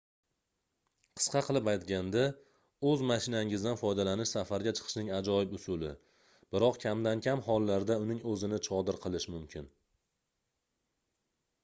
qisqa qilib aytganda oʻz mashinangizdan foydalanish safarga chiqishning ajoyib usuli biroq kamdan-kam hollarda uning oʻzini chodir qilish mumkin